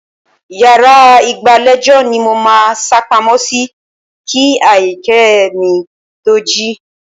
Yàrá ìgbàlejò ni mo máa sápamọ́ sí kí Aríyìíkẹ́ mi to jí.